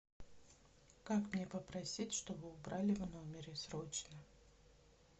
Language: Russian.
как мне попросить чтобы убрали в номере срочно